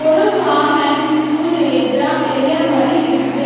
ஒரு common peaceful ஏத்ரா area மாரி இருக்குது.